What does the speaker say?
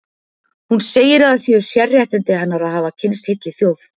Hún segir að það séu sérréttindi hennar að hafa kynnst heilli þjóð.